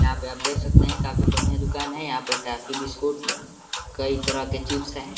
यहाँ पे आप देख सकते है काफी बढ़िया दुकान है। यहाँ पे टॉफी बिस्कुट कई तरह के चिप्स हैं।